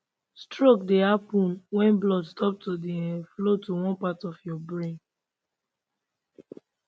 stroke dey happun wen blood stop to dey um flow to one part of your brain